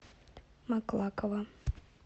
маклакова